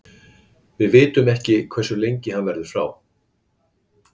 Við vitum ekki hversu lengi hann verður frá.